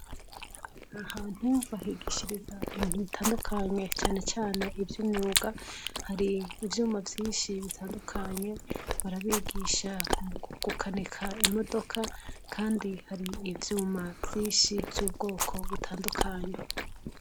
Ahantu bahigishiriza ibintu bitadukanye canecane ivy'imyunga, har'ivyuma vyinshi bitadukanye barabigisha gukanika imodoka kandi har'ivyuma vyinshi vy'ubwoko bitadukanye.